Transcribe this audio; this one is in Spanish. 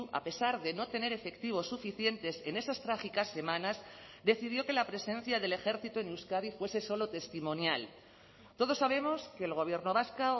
a pesar de no tener efectivos suficientes en esas trágicas semanas decidió que la presencia del ejército en euskadi fuese solo testimonial todos sabemos que el gobierno vasco